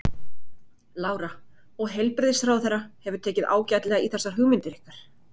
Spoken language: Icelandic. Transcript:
Lára: Og heilbrigðisráðherra hefur tekið ágætlega í þessar hugmyndir ykkar?